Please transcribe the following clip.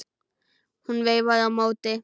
Hún veifaði á móti.